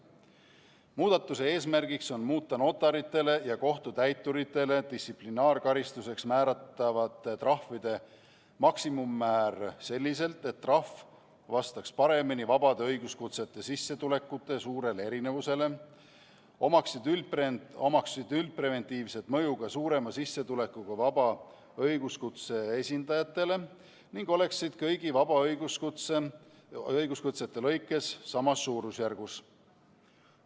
Muudatuse eesmärk on muuta notaritele ja kohtutäituritele distsiplinaarkaristuseks määratavate trahvide maksimummäära selliselt, et trahv vastaks paremini vabade õiguskutsete sissetulekute suurele erinevusele, omaks üldpreventiivset mõju ka suurema sissetulekuga vaba õiguskutse esindajatele ning oleks kõigi vabade õiguskutsete lõikes samas suurusjärgus.